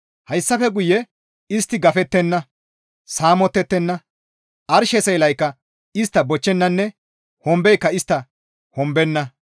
Hayssafe guye istti gafettenna; saamottettenna; arshe seelaykka istta bochchennanne hombeyka istta hombenna.